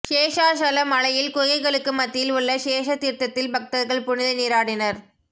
சேஷாசல மலையில் குகைகளுக்கு மத்தியில் உள்ள சேஷ தீர்த்தத்தில் பக்தர்கள் புனித நீராடினர்